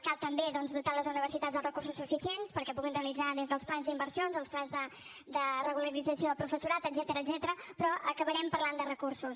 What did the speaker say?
cal també doncs dotar les universitats dels recursos suficients perquè puguin realitzar des dels plans d’inversions als plans de regularització de professorat etcètera però acabarem parlant de recursos